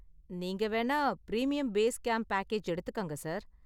நீங்க வேணா premium base camp package எடுத்துக்கங்க, சார்.